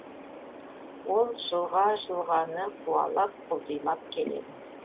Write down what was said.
ол жылға жылғаны қуалап құлдилап келеді